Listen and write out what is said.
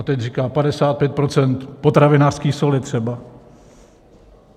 A teď říká: 55 % potravinářské soli třeba.